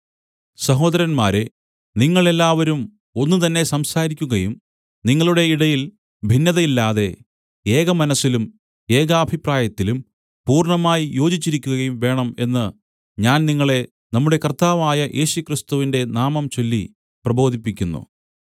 സഹോദരന്മാരേ നിങ്ങൾ എല്ലാവരും ഒന്ന് തന്നെ സംസാരിക്കുകയും നിങ്ങളുടെ ഇടയിൽ ഭിന്നതയില്ലാതെ ഏകമനസ്സിലും ഏകാഭിപ്രായത്തിലും പൂർണ്ണമായി യോജിച്ചിരിക്കുകയും വേണം എന്ന് ഞാൻ നിങ്ങളെ നമ്മുടെ കർത്താവായ യേശുക്രിസ്തുവിന്റെ നാമം ചൊല്ലി പ്രബോധിപ്പിക്കുന്നു